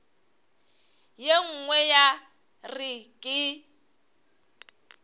ye nngwe ya re ke